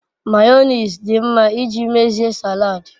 mayonnaise di nma iji mezie salad